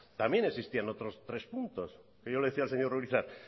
también existían otros tres puntos y yo le decía al señor urizar